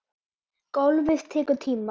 Golfið tekur tíma.